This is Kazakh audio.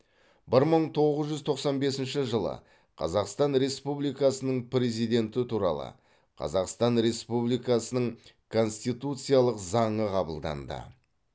бір мың тоғыз жүз тоқсан бесінші жылы қазақстан республикасының президенті туралы қазақстан республикасының конституциялық заңы қабылданды